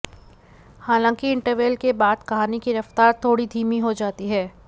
हलांकि इंटरवल के बाद कहानी की रफ्तार थोड़ी धीमी हो जाती है